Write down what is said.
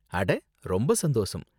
அட! ரொம்ப சந்தோசம்.